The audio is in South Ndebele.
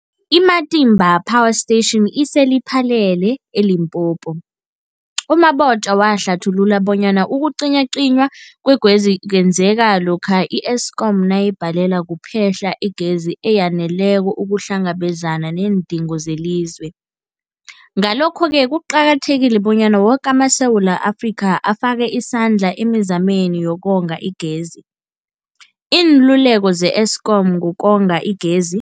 I-Matimba Power Station ise-Lephalale, eLimpopo. U-Mabotja wahlathulula bonyana ukucinywacinywa kwegezi kwenzeka lokha i-Eskom nayibhalelwa kuphe-hla igezi eyaneleko ukuhlangabezana neendingo zelizwe. Ngalokho-ke kuqakathekile bonyana woke amaSewula Afrika afake isandla emizameni yokonga igezi. Iinluleko ze-Eskom ngokonga igezi.